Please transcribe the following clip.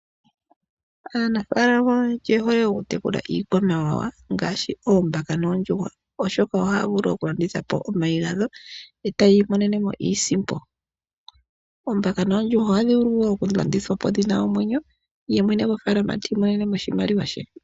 Aanafaalama oyendji oyehole oku tekula iikwamawawa ngaashi oombaka noondjuhwa oshoka ohaya vulu okulanditha omayi gadho etayi imonenemo iisimpo. Oombaka noondjuhwa ohadhi vulu woo oku landithwapo dhina omwenyo ye mwene gwofaalama ti imonenemo oshimaliwa she.